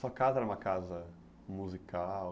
Sua casa era uma casa musical?